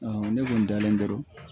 ne kun dalen don